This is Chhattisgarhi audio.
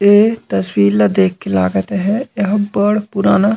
ये तस्वीर ला देख के लागत हे ये ह बड़ पुराना--